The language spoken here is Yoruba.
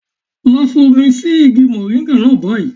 Lọ fi omi sí igi mòríńgà náà báyìí.